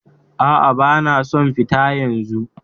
Aa, bana son fita yanzu